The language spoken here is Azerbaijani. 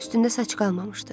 Üstündə saç qalmamışdı.